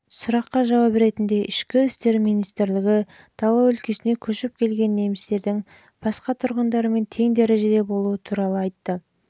сұраққа жауап ретінде ішкі істер министрлігі жылы дала өлкесіне көшіп келген немістердің басқа тұрғындармен тең дәрежеде болуы туралы